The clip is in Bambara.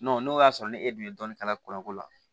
n'o y'a sɔrɔ ne e dun ye dɔɔnin k'a la kɔlɔn ko la